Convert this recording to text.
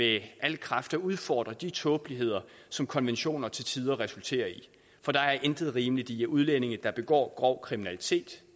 af al kraft at udfordre de tåbeligheder som konventioner til tider resulterer i for der er intet rimeligt i at udlændinge der begår grov kriminalitet